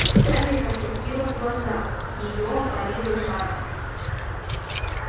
скарлетт опустила глаза её опалило жаром